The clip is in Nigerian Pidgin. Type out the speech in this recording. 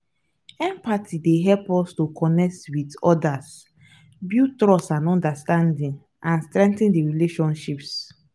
empathy dey help us to connect with odas build trust and understanding and strengthen di relationships.